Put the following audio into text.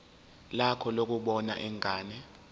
lakho lokubona ingane